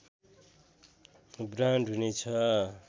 brand हुने छ